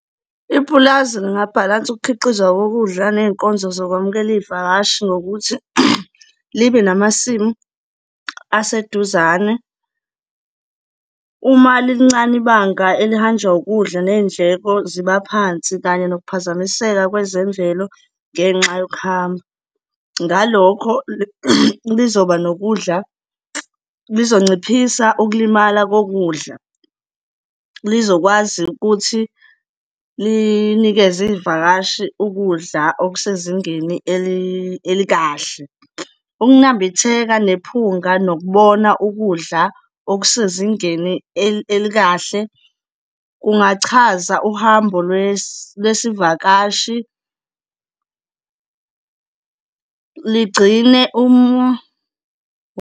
Ipulazi lingabhalansa ukukhiqizwa kokudla ney'nkonzo zokwamukela izivakashi ngokuthi libe namasimu aseduzane. Uma lilincane ibanga elihanjwa ukudla, ney'ndleko ziba phansi kanye nokuphazamiseka kwezemvelo ngenxa yokuhamba. Ngalokho, lizoba nokudla, lizonciphisa ukulimala kokudla, lizokwazi ukuthi linikeze iy'vakashi ukudla okusezingeni elikahle. Ukunambitheka, nephunga, nokubona ukudla okusezingeni elikahle kungachaza uhambo lwesivakashi ligcine .